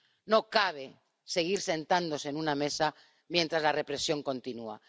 No cabe seguir sentándose en una mesa mientras la represión continúa.